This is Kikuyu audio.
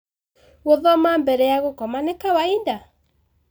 Gũthoma mbere ya gũkoma nĩ kawaida?